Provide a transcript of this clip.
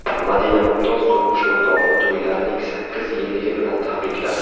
Madina Mumtoz turmush o‘rtog‘ini to‘ylarining sakkiz yilligi bilan tabrikladi.